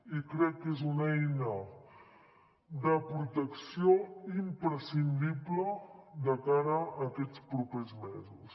i crec que és una eina de protecció imprescindible de cara a aquests propers mesos